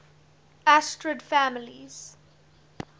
asterid families